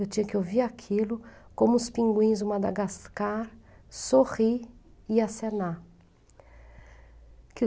Eu tinha que ouvir aquilo como os pinguins do Madagascar sorrir e acenar.